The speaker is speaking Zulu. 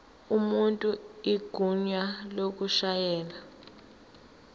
umuntu igunya lokushayela